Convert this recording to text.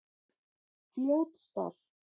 Fljótsdal